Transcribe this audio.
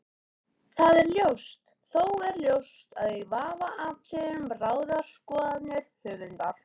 Þó er ljóst að í vafaatriðum ráða skoðanir höfundar.